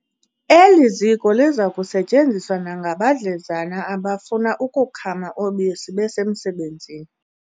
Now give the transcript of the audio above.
Eli ziko liza kusetyenziswa nangabadlezana abafuna ukukhama ubisi besemsebenzini.